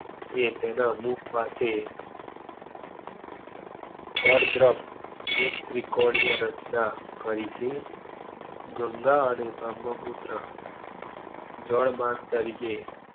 એ તેના મુખ પાસે ફળ દ્રાફ્ટ મુખ ત્રિકોણીય રચના કરી છે. ગંગા અને બ્રમ્હપુત્ર જળમાર્ગ તરીકે